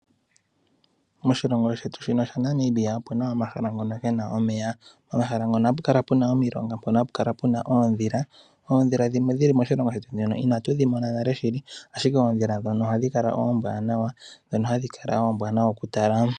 Moshilongo shetu shaNamibia omuna omahala ngono gena omeya. Omahala ngono ohapukala puna omilonga hapukala puna oondhila. Oondhila dhimwe dhili moshilongo shetu inatudhi mona nale ashike oondhila ndhono ohadhi kala oombwaanawa okutala.